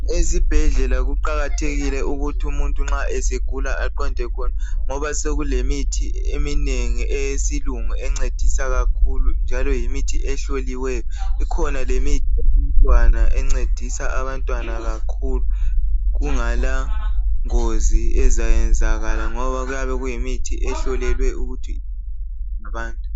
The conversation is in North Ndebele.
ezibhedlela kuqakathekile ukuthi umuntu nxa esegula aqonde khona ngoba sekulemithi eminengi eyesilungu encedisa kakhulu njalo yimithi ehloliweyo ikhona lemithi yabantwana encedisa abantwana kakhulu kungala ngozi ezayenzakala ngoba kuyabe kuyimithi ehlolelwe ukuthi